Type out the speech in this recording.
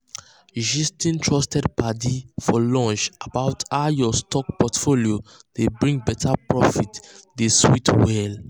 gisting trusted padi for lunch about how lunch about how your stock portfolio dey bring better profit dey sweet well.